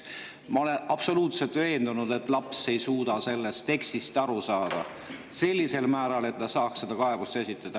Ma olen absoluutselt veendunud, et laps ei suuda sellest tekstist aru saada sellisel määral, et ta saaks kaebuse esitada.